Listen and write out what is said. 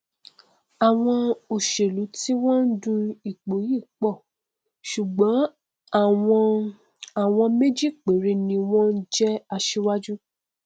àwọn òṣèlú tí wọn ndu ipò yìí pọ ṣùgbọn àwọn àwọn méjì péré ni wọn jẹ asíwájú